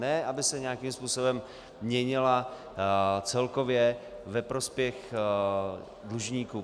Ne, aby se nějakým způsobem měnila celkově ve prospěch dlužníků.